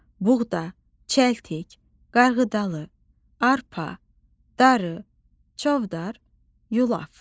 Buğda, çəltik, qarğıdalı, arpa, darı, çovdar, yulaf.